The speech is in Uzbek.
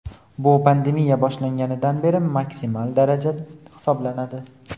Bu pandemiya boshlanganidan beri maksimal daraja hisoblanadi.